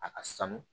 A ka sanu